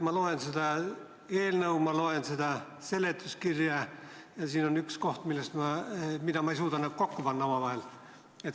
Ma loen seda eelnõu, ma loen seda seletuskirja ja siin on üks koht, kus ma ei suuda neid omavahel kokku panna.